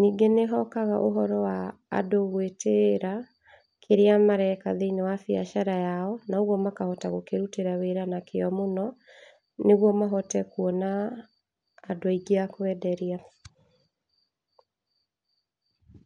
ningĩ nĩ hotaga ũndũ wa andũ gwĩtĩira kĩrĩa mareka thĩiniĩ wa biacara yao, na ũgwo makahota gũkĩrutĩra wĩra na kĩo mũno, nĩgwo mahote kuona andũ aingĩ a kwenderia.